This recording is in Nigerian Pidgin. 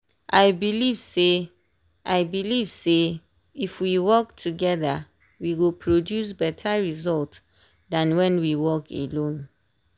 i believe say i believe say if we work toggther we go produce better result than when we work alone.